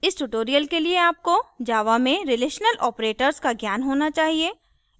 इस tutorial के लिए आपको java में relational operators का ज्ञान होना चाहिए